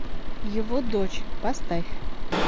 его дочь поставь